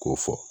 K'o fɔ